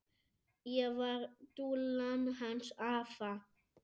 Ég var dúllan hans afa.